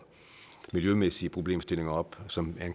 miljømæssige problemstillinger op som